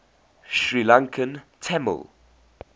sri lankan tamil